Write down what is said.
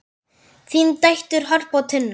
Þínar dætur, Harpa og Tinna.